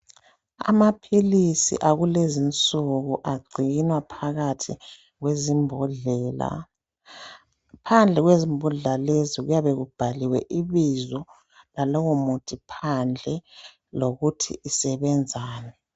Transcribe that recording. Amaphilisi akulezi insuku agcinwa phakathi kwezimbodlela. Phandle kwezimbodlela lezi kuyabe kubhaliwe ibizo lalowo muthi phandle lokuthi usebenzani.